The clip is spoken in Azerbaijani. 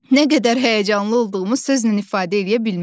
Nə qədər həyəcanlı olduğumu sözlə ifadə eləyə bilmərəm.